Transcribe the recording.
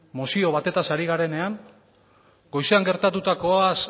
mozio batetaz ari garenean goizean gertatutakoaz